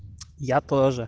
я тоже